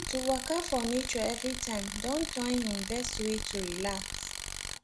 to waka for nature everytime don turn him best way to relax